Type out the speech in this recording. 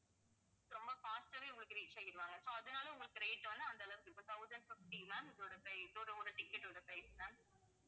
ரொம்ப fast ஆவே உங்களுக்கு reach ஆயிடுவாங்க so அதனால உங்களுக்கு rate வந்து அந்தளவுக்கு இப்போ thousand fifty ma'am இதோட pri~ இதோட ஒரு ticket ஓட price ma'am